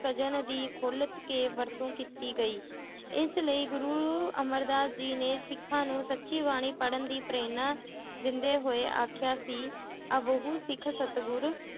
ਦੀ ਖੁੱਲ ਕੇ ਵਰਤੋਂ ਕੀਤੀ ਗਈ ਇਸ ਲਈ ਗੁਰੂ ਅਮਰਦਾਸ ਜੀ ਨੇ ਸਿੱਖਾਂ ਨੂੰ ਸਚੀ ਬਾਣੀ ਪੜ੍ਹਨ ਦੀ ਪ੍ਰੇਰਨਾ ਦਿੰਦੇ ਹੋਏ ਆਖਿਆ ਸੀ ਸਿੱਖ ਸਤਿਗੁਰ